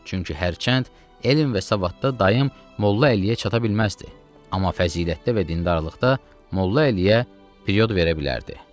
Çünki hərçənd elm və savadda dayım Molla Əliyə çata bilməzdi, amma fəzilətdə və dindarlıqda Molla Əliyə period verə bilərdi.